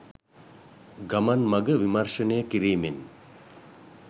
ගමන් මඟ විමර්ශනය කිරීමෙන්